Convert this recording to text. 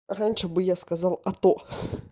раньше бы я сказал а то